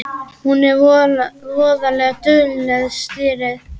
Hún er voða dugleg, stýrið.